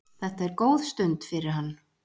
Þetta er góð stund fyrir hann.